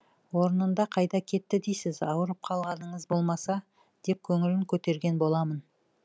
орнында қайда кетті дейсіз аурып қалғаныңыз болмаса деп көңілін көтерген боламын